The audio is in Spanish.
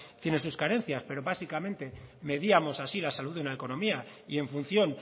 tiene sus carencias pero básicamente medíamos así la salud de una economía y en función